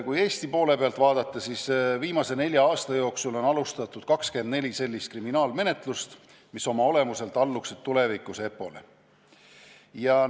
Kui Eesti poole pealt vaadata, siis viimase nelja aasta jooksul on alustatud 24 sellist kriminaalmenetlust, mis oma olemuselt alluksid tulevikus EPPO-le.